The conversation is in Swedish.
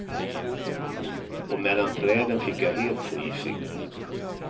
Och mellan träden fick jag helt fri sikt.